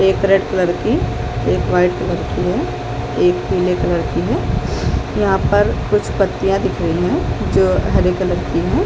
एक red colour एक white colour है एक पिले कलर की है यहाँ पर कुछ पत्तियाँ दिख रहे है जो हरे कलर की हैं ।